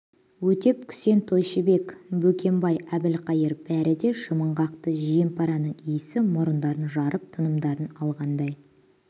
өтеп күсен тойшыбек бөкембай абылқайыр бәрі де жымың қақты жем-параның иісі мұрындарын жарып тынымдарын алғандай